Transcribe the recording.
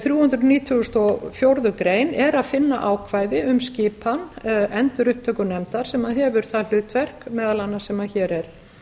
þrjú hundruð nítugasta og fjórðu grein er að finna ákvæði um skipan endurupptökunefndar sem hefur það hlutverk meðal annars sem hér er